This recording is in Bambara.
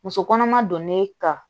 Muso kɔnɔma donn'e kan